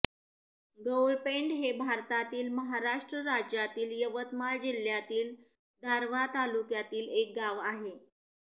गौळपेंड हे भारतातील महाराष्ट्र राज्यातील यवतमाळ जिल्ह्यातील दारव्हा तालुक्यातील एक गाव आहे